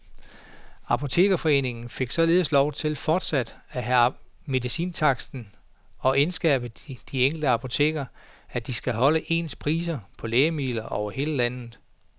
Apotekerforeningen fik således lov til fortsat at have medicintaksten og indskærpe de enkelte apoteker, at de skal holde ens priser på lægemidler over hele landet.